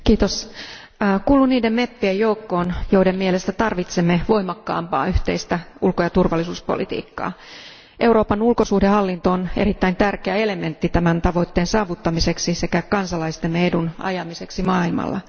Arvoisa puhemies, kuulun niiden meppien joukkoon, joiden mielestä tarvitsemme voimakkaampaa yhteistä ulko ja turvallisuuspolitiikkaa. Euroopan ulkosuhdehallinto on erittäin tärkeä elementti tämän tavoitteen saavuttamiseksi sekä kansalaistemme edun ajamiseksi maailmalla.